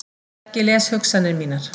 Helgi les hugsanir mínar.